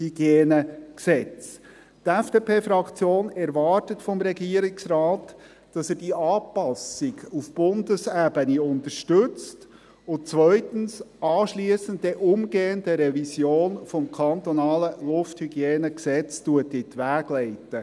Die FDP-Fraktion erwartet vom Regierungsrat, dass er diese Anpassung auf Bundesebene unterstützt und – zweitens – anschliessend umgehend eine Revision des kantonalen LHG in die Wege leitet.